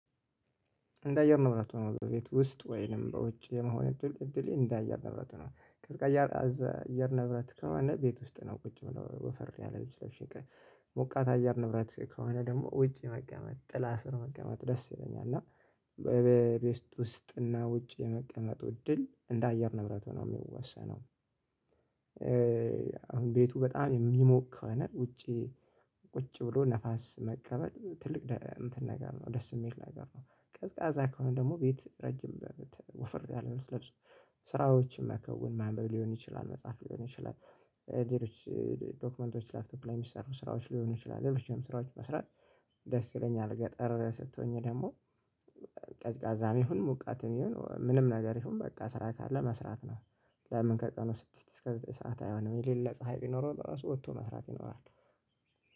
እንደ አየር ንብረት ሆኖ በቤት ውስጥ ወይንም በውጭ የመሆን እድል እድሌ እንደ አየር ንብረት ነው ቀዝቃዛ አየር ንብረት ከሆነ ቤት ውስጥ ነው ቁጭ ምለው ወፈር ያለ ልብስ ለብሸ ሞቃት አየር ንብረት ከሆነ ደግሞ ውጪ መቀመጥ ጥላ ስር መቀመጥ ደስ ይለኛል እና በቤት ውስጥ እና ውጭ የመቀመጡ እድል እንደ አየር ንብረት ነው የሚወሰነው። አሁን ቤቱ በጣም የሚሞቅ ከሆነ ውጪ ቁጭ ብሎ ነፋስ መቀበል ትልቅ ነገር ነው ደስ የሚል ነገር ነው። ቀዝቃዛ ከሆነ ደግሞ ቤት ረጅም ጃኬት ወፈር ያለ ልብስ ለብሶ። ስራዎችን መከውን ማንበብ ሊሆን ይችላል መጽሐፍ ሊሆን ይችላል። ሌሎች ዶክመንቶች ላፕቶፕ ላይ የሚሰሩ ስራዎች ሊሆን ይችላል ሌሎችም ስራዎች መስራት። ደስ ይለኛል ገጠር ስትሆኚ ደግሞ ቀዝቃዛም ይሁን ሞቃትም ይሁን ምንም ነገር ይሁን በቃ ስራ ካለ መስራት ነው። ለምን ከቀኑ ስድስት እስከ ዘጠኝ ሰዓት አይሆንም የሌለ ፀሀይ ቢኖረው ለራሱ ወጥቶ መስራት ይኖራል